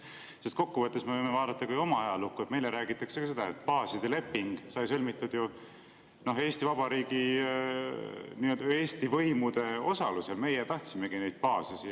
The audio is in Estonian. Sest kokkuvõttes me võime vaadata oma ajalukku, meile räägitakse ka seda, et baaside leping sai sõlmitud Eesti Vabariigi, nii-öelda Eesti võimude osalusel, meie tahtsimegi neid baase siia.